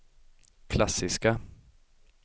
klassiska